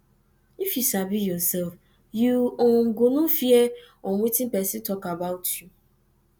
if yu sabi ursef yu um go no fear um wetin pesin tok about yu